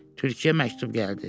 Tülkiyə məktub gəldi.